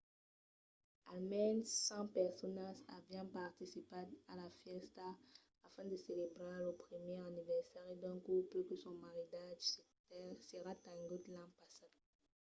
almens 100 personas avián participat a la fèsta a fin de celebrar lo primièr aniversari d’un couple que son maridatge s'èra tengut l’an passat